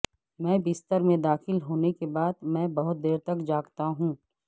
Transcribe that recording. میں بستر میں داخل ہونے کے بعد میں بہت دیر تک جاگتا ہوں